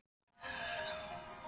Hver getur það ekki? sagði hún.